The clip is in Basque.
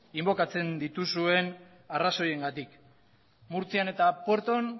inbokatzen dituzuen arrazoiengatik murtzian eta puerton